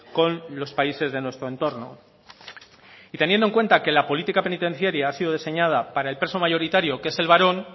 con los países de nuestro entorno y teniendo en cuenta que la política penitenciaria ha sido diseñada para el preso mayoritario que es el varón